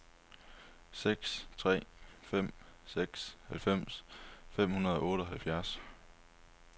seks tre fem seks halvfems fem hundrede og otteoghalvfjerds